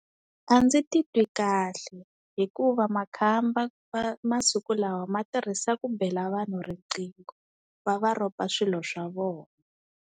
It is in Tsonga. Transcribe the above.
A ndzi titwi kahle hikuva makhamba ma masiku lawa ma tirhisa ku bela vanhu riqingho va va ropa swilo swa vona.